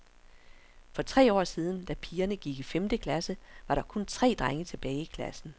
For tre år siden, da pigerne gik i femte klasse, var der kun tre drenge tilbage i klassen.